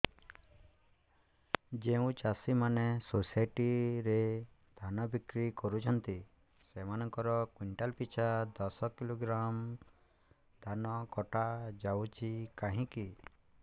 ଯେଉଁ ଚାଷୀ ମାନେ ସୋସାଇଟି ରେ ଧାନ ବିକ୍ରି କରୁଛନ୍ତି ସେମାନଙ୍କର କୁଇଣ୍ଟାଲ ପିଛା ଦଶ କିଲୋଗ୍ରାମ ଧାନ କଟା ଯାଉଛି କାହିଁକି